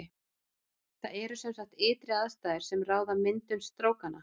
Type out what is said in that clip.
Það eru sem sagt ytri aðstæður sem ráða myndun strókanna.